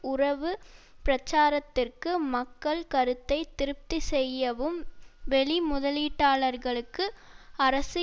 உறவு பிரச்சாரத்திற்கு மக்கள் கருத்தை திருப்தி செய்யவும் வெளி முதலீட்டாளர்களுக்கு அரசு